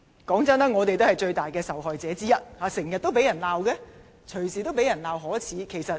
坦白說，我們也是最大的受害者之一，經常被責罵，隨時被責罵可耻。